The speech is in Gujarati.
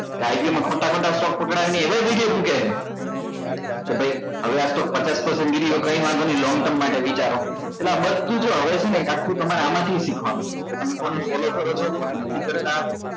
કે ખોટા ખોટા stock પકડવી ને એવા video મુકે હે તો ભાઈ હવે આ stock પચાસ percent video કઈ નઈ long term માટે વિચારો એટલે આ બધું જો હવે છે ને એક આખુ તમારે આમાં થી શીખવા નું છે કે તમે કોને follow કરો છો કોને નથી કરતા